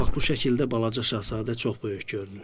Bax bu şəkildə balaca şahzadə çox böyük görünür.